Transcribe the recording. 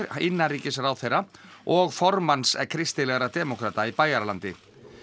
innanríkisráðherra og formanns kristilegra demókrata í Bæjaralandi